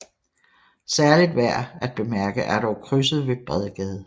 Særligt værd at bemærke er dog krydset med Bredgade